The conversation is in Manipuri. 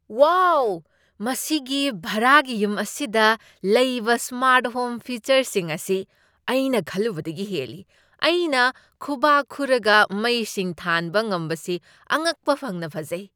ꯋꯥꯎ, ꯃꯁꯤꯒꯤ ꯚꯔꯥꯒꯤ ꯌꯨꯝ ꯑꯁꯤꯗ ꯂꯩꯕ ꯁ꯭ꯃꯥꯔꯠ ꯍꯣꯝ ꯐꯤꯆꯔꯁꯤꯡ ꯑꯁꯤ ꯑꯩꯅ ꯈꯜꯂꯨꯕꯗꯒꯤ ꯍꯦꯜꯂꯤ꯫ ꯑꯩꯅ ꯈꯨꯕꯥꯛ ꯈꯨꯔꯒ ꯃꯩꯁꯤꯡ ꯊꯥꯟꯕ ꯉꯝꯕꯁꯤ ꯑꯉꯛꯄ ꯐꯪꯅ ꯐꯖꯩ!